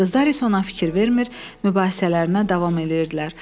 Qızlar isə ona fikir vermir, mübahisələrinə davam eləyirdilər.